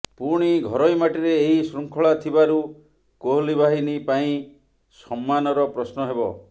ପୁଣି ଘରୋଇ ମାଟିରେ ଏହି ଶୃଙ୍ଖଳା ଥିବାରୁ କୋହଲି ବାହିନୀ ପାଇଁ ସମ୍ମାନର ପ୍ରଶ୍ନ ହେବ